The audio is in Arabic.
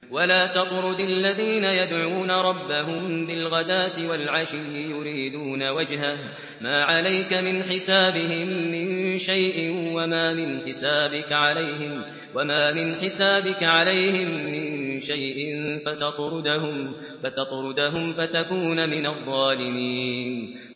وَلَا تَطْرُدِ الَّذِينَ يَدْعُونَ رَبَّهُم بِالْغَدَاةِ وَالْعَشِيِّ يُرِيدُونَ وَجْهَهُ ۖ مَا عَلَيْكَ مِنْ حِسَابِهِم مِّن شَيْءٍ وَمَا مِنْ حِسَابِكَ عَلَيْهِم مِّن شَيْءٍ فَتَطْرُدَهُمْ فَتَكُونَ مِنَ الظَّالِمِينَ